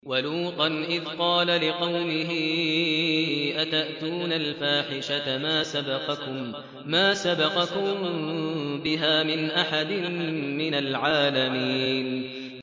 وَلُوطًا إِذْ قَالَ لِقَوْمِهِ أَتَأْتُونَ الْفَاحِشَةَ مَا سَبَقَكُم بِهَا مِنْ أَحَدٍ مِّنَ الْعَالَمِينَ